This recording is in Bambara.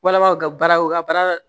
Walama u ka baara u ka baara